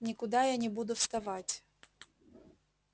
никуда я не буду вставать